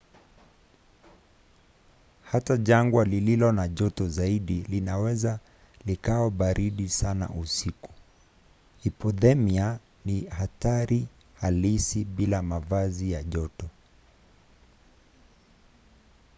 hata jangwa lililo na joto zaidi linaweza likawa baridi sana usiku. hipothemia ni hatari halisi bila mavazi ya joto